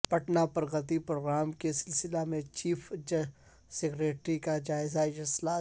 Patna Pragati programme کے سلسلہ میں چیف سکریٹری کا جائزہ اجلاس